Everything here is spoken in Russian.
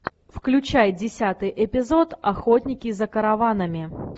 включай десятый эпизод охотники за караванами